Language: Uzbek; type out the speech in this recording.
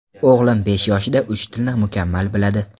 O‘g‘lim besh yoshida uch tilni mukammal biladi.